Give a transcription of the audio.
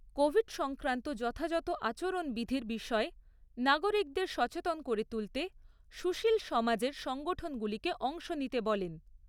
Covid সংক্রান্ত যথাযথ আচরণবিধির বিষয়ে নাগরিকদের সচেতন করে তুলতে সুশীল সমাজের সংঠনগুলিকে অংশ নিতে বলেন।